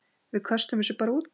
Við köstum þessu bara út.